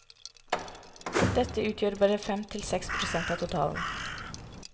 Dette utgjør bare fem til seks prosent av totalen.